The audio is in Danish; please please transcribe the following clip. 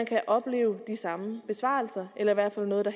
kan opleve de samme besparelser eller i hvert fald noget